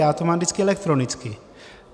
Já to mám vždycky elektronicky.